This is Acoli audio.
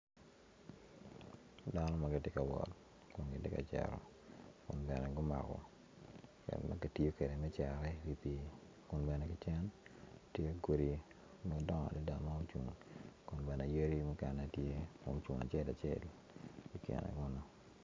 Dano ma giti ka wot kun giti ka cito kun bene gumako gin ma gitiyo kede me cere i pii kun bene ki cen tye godi madongo adada ma ocung kun bene yadi mukene tye mucung acel acel i kine kunu